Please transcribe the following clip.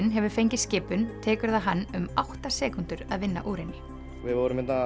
hefur fengið skipun tekur það hann um átta sekúndur að vinna úr henni við vorum að